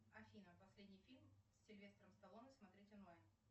афина последний фильм с сильвестром сталлоне смотреть онлайн